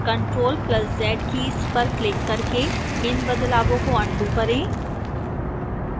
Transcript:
ctrl + z keys पर click करके इन बदलावों को अन्डू करें